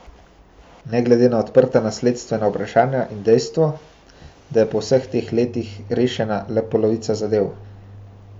Ne glede na odprta nasledstvena vprašanja in dejstvo, da je po vseh teh letih rešena le polovica zadev.